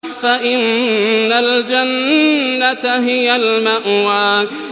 فَإِنَّ الْجَنَّةَ هِيَ الْمَأْوَىٰ